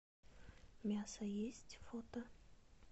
мясо есть фото